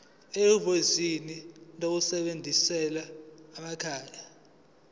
ehhovisi eliseduzane lezasekhaya